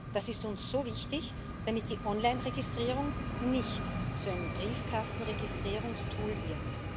Das ist uns so wichtig, damit die Onlineregistrierung nicht zu einem Briefkastenregistrierungstool wird.